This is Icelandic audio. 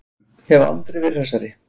Aldrei verið hressari.